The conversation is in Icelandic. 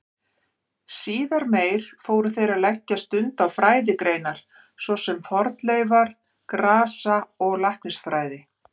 Síðar meir fóru þeir að leggja stund á fræðigreinar svo sem fornleifa-, grasa- og læknisfræði.